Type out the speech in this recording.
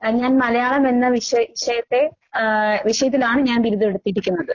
ആഹ് ഞാൻ മലയാളമെന്ന വിശെ വിഷയത്തെ ആഹ് വിഷയത്തിലാണ് ഞാൻ ബിരുദവെടുത്തിരിക്കുന്നത്.